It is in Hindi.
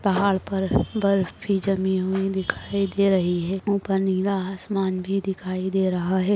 पहाड़ पर बर्फ भी जमी हुई दिखाई दे रही है ऊपर नीला आसमान भी दिखाई दे रहा है।